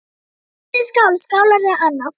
Hellið í skál, skálar eða annað.